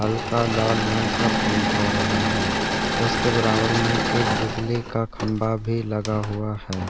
हल्का लाल रंग का पेंट हो रहा है उसके बराबर में एक बिजली का खम्भा भी लगा हुआ है।